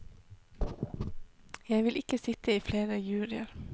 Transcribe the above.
Jeg vil ikke sitte i flere juryer.